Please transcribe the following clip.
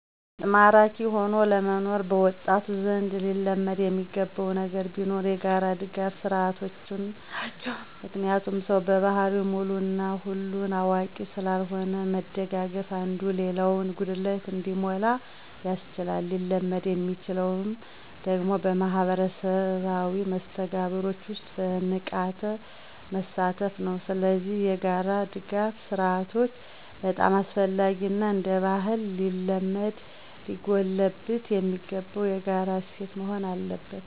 ይበልጥ ማራኪ ሆኖ ለመኖር በወጣቱ ዘንድ ሊለመድ የሚገባ ነገር ቢኖር የጋራ ድጋፍ ስርዓቶች ናቸው። ምክንያቱም ሰው በባህሪው ሙሉ እና ሁሉን አዋቂ ስላልሆነ መደጋገፉ አንዱ የሌላውን ጉድለት እንዲሞላ ያስችላል። ሊለመድ የሚችለው ደግሞ በማህበራዊ መስተጋብሮች ውስጥ በንቃት በመሳተፍ ነው። ስለዚህ የጋራ ድጋፍ ስርአቶች በጣም አስፈላጊ እና እንደባህልም ሊለመድ ሊጎለበት የሚገባው የጋራ እሴት መሆን አለበት።